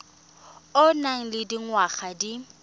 o nang le dingwaga di